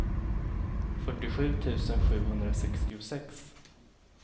fyrtiosju tusen sjuhundrasextiosex